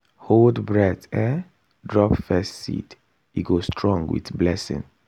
hold breath um drop first seed e go strong with blessing.